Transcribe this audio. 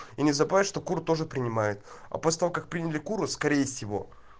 и не забывай что кур тоже принимает апостол как приняли куру скорее всего